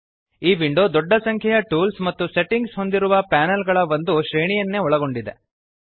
ಈ ವಿಂಡೋ ದೊಡ್ಡ ಸಂಖ್ಯೆಯ ಟೂಲ್ಸ್ ಮತ್ತು ಸೆಟಿಂಗ್ಸ್ ಹೊಂದಿರುವ ಪ್ಯಾನೆಲ್ಗಳ ಒಂದು ಶ್ರೇಣಿಯನ್ನೇ ಒಳಗೊಂಡಿದೆ